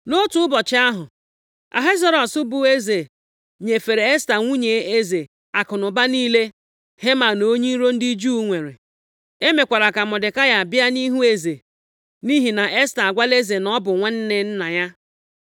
Nʼotu ụbọchị ahụ, Ahasuerọs bụ eze, nyefere Esta nwunye eze akụnụba niile + 8:1 Nʼoge ahụ, eze alaeze ahụ, nwere ikike i were akụnụba niile onye ahụ a maara ikpe ọnwụ. Heman onye iro ndị Juu nwere. E mekwara ka Mọdekai bịa nʼihu eze, nʼihi na Esta agwala eze na ọ bụ nwanne nna ya.